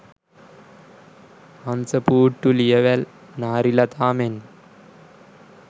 හංසපූට්ටු ලියවැල් නාරිලතා මෙන්ම